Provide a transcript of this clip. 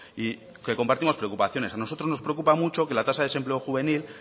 y que compartimos preocupaciones a nosotros nos preocupa mucho que la tasa de desempleo juvenil